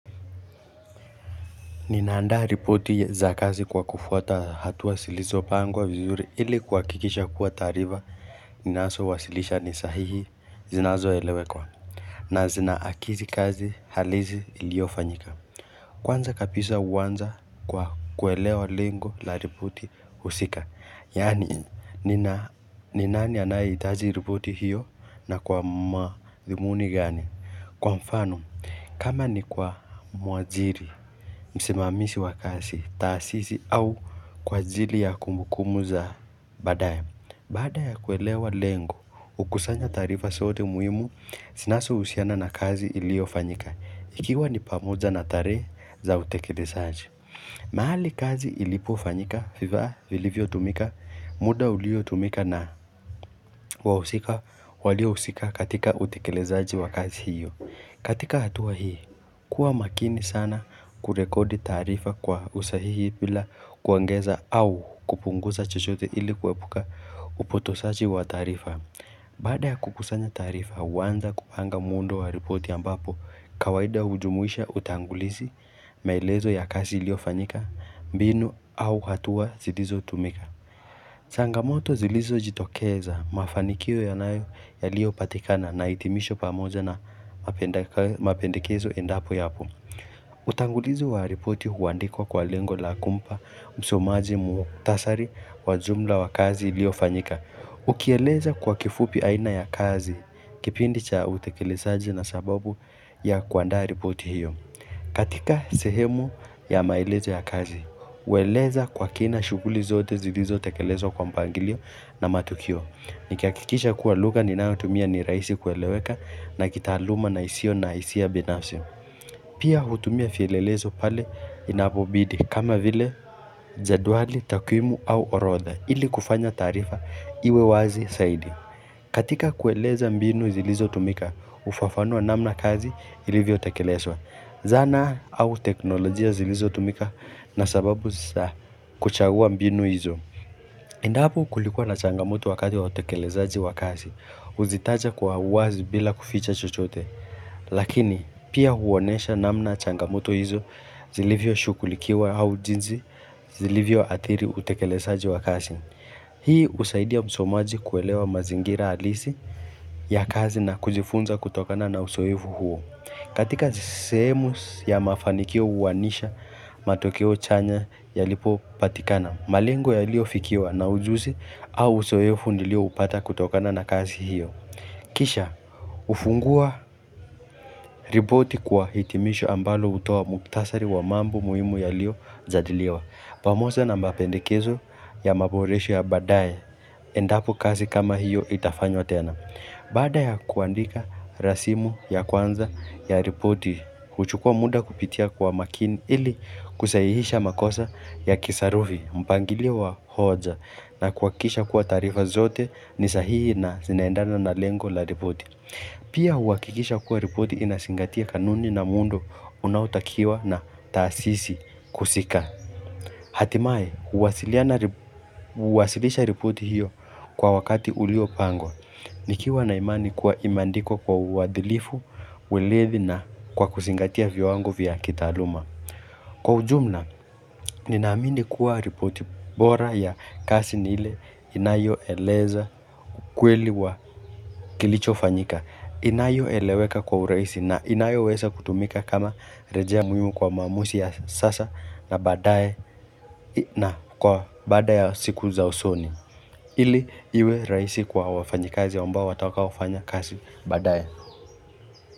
Ninaandaa ripoti za kazi kwa kufuata hatua zilizopangwa vizuri ili kuhakikisha kuwa taarifa Ninazowasilisha ni sahihi zinazoeleweka na zinaakisi kazi halisi iliyofanyika Kwanza kabisa huanza kwa kuelewa lengo la ripoti husika yaani ni nani anayehitaji ripoti hiyo na kwa madhumuni gani Kwa mfano kama ni kwa mwajiri, msimamizi wa kazi, taasisi au kwa ajili ya kumbukumbu za baadaye Baada ya kuelewa lengo, hukusanya taarifa zote muhimu zinazohusiana na kazi iliyofanyika, ikiwa ni pamoja na tarehe za utekelezaji mahali kazi ilipofanyika, vifaa vilivyotumika muda uliotumika na wahusika waliohusika katika utekelezaji wa kazi hiyo, katika hatua hii, kuwa makini sana kurekodi taarifa kwa usahihi bila kuongeza au kupunguza chochote ili kuepuka upotoshaji wa taarifa. Baada ya kukusanya taarifa, huanza kupanga muundo wa ripoti ambapo, kawaida hujumuisha utangulizi, maelezo ya kazi iliyofanyika, mbinu au hatua zilizotumika. Changamoto zilizojitokeza, mafanikio yaliyopatikana na hitimisho pamoja na mapendekezo endapo yapo. Utangulizi wa ripoti huandikwa kwa lengo la kumpa msomaji muhtasari wa jumla ya kazi iliyofanyika. Ukieleza kwa kifupi aina ya kazi, kipindi cha utekelezaji na sababu ya kuandaa ripoti hiyo. Katika sehemu ya maelezo ya kazi, hueleza kwa kina shughuli zote zilizotekelezwa kwa mpangilio na matukio. Nikihakikisha kuwa lugha ninayotumia ni rahisi kueleweka na kitaaluma na isiyo na hisia binafsi. Pia hutumia vielelezo pale inapobidi kama vile jedwali, takwimu au orodha ili kufanya taarifa iwe wazi zaidi. Katika kueleza mbinu zilizotumika, hufafanua namna kazi ilivyotekelezwa. Zana au teknolojia zilizotumika na sababu za kuchagua mbinu hizo. Endapo kulikuwa na changamoto wakati wa utekelezaji wa kazi, huzitaja kwa uwazi bila kuficha chochote. Lakini, pia huonyesha namna changamoto hizo zilivyoshughulikiwa au jinsi zilivyoathiri utekelezaji wa kazi. Hii husaidia msomaji kuelewa mazingira halisi ya kazi na kujifunza kutokana na uzoefu huo. Katika sehemu ya mafanikio huainisha matokeo chanya yalipopatikana, malengo yaliyofikiwa na ujuzi au uzoefu nilioupata kutokana na kazi hiyo. Kisha, hufungua ripoti kwa hitimisho ambalo hutoa muhtasari wa mambo muhimu yaliyojadiliwa. Pamoja na mapendekezo ya maboresho ya baadaye endapo kazi kama hiyo itafanywa tena. Baada ya kuandika rasimu ya kwanza ya ripoti, huchukua muda kupitia kwa makini ili kusahihisha makosa ya kisarufi, mpangilio wa hoja na kuhakikisha kuwa taarifa zote ni sahihi na zinaendana na lengo la ripoti. Pia huhakikisha kuwa ripoti inazingatia kanuni na muundo unaotakiwa na taasisi husika. Hatimaye, huwasilisha ripoti hiyo kwa wakati uliopangwa, nikiwa na imani kuwa imeandikwa kwa uadilifu, urithi na kwa kuzingatia viwango vya kitaaluma. Kwa ujumla, ninaamini kuwa ripoti bora ya kazi ni ile inayoeleza ukweli wa kilichofanyika. Inayoeleweka kwa urahisi na inayoweza kutumika kama rejea muhimu kwa maamuzi ya sasa na baadae na kwa baada ya siku za usoni ili iwe rahisi kwa wafanyikazi ambao watakaofanya kazi baadae.